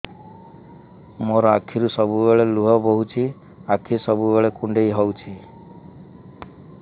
ମୋର ଆଖିରୁ ସବୁବେଳେ ଲୁହ ବୋହୁଛି ଆଖି ସବୁବେଳେ କୁଣ୍ଡେଇ ହଉଚି